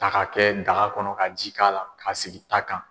Ta ka kɛ daga kɔnɔ ka ji k'a la k'a sigi ta kan.